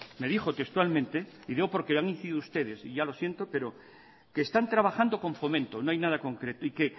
y lo digo porque le ha mentido a ustedes y ya lo siento que están trabajando con fomento no hay nada concreto y que